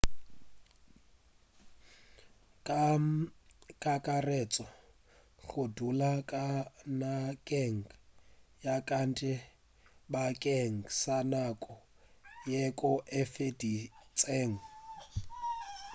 ka kakaretšo go dula ka nageng ya kantle bakeng sa nako yeo e okedtšwego o tla swanela ke go hwetša visa e sa le nako